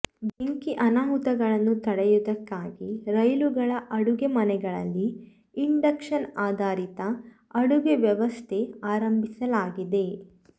ಬೆಂಕಿ ಅನಾಹುತಗಳನ್ನು ತಡೆಯುವುದಕ್ಕಾಗಿ ರೈಲುಗಳ ಅಡುಗೆ ಮನೆಗಳಲ್ಲಿ ಇಂಡಕ್ಷನ್ ಆಧಾರಿತ ಅಡುಗೆ ವ್ಯವಸ್ಥೆ ಆರಂಭಿಸಲಾಗಿದೆ